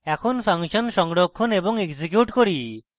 এখন ফাংশন সংরক্ষণ এবং execute করি